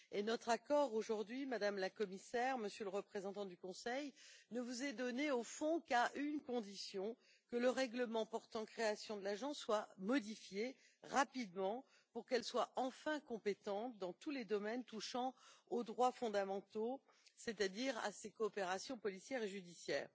Et notre accord aujourd'hui, Madame la Commissaire, Monsieur le représentant du Conseil, ne vous est donné au fond qu'à une condition que le règlement portant création de l'Agence soit modifié rapidement pour qu'elle soit enfin compétente dans tous les domaines touchant aux droits fondamentaux, c'est à dire à ces coopérations policière et judiciaire.